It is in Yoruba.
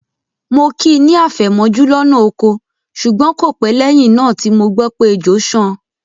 Mo kí i ní àfẹ̀mọ́jú lọ́nà oko ṣùgbọ́n kò pẹ́ lẹ́yìn náà tí mo gbọ́ pé ejò ṣán an.